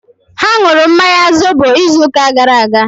Ha nụrụ mmanya zobo izu ụka gara aga